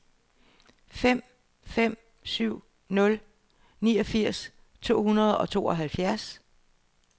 fem fem syv nul niogfirs to hundrede og tooghalvfjerds